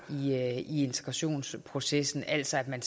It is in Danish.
i integrationsprocessen altså at man